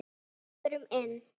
Förum inn.